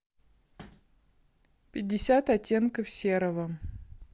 пятьдесят оттенков серого